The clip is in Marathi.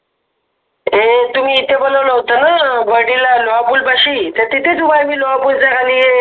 तुम्ही इथं बनवलं होतं ना पाशी तर तिथेच